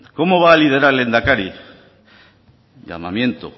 cómo va a liderar lehendakari llamamiento